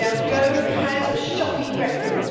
Gove has a shocking record.